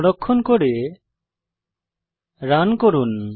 সংরক্ষণ করে রান করুন